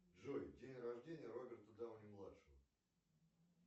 джой день рождения роберта дауни младшего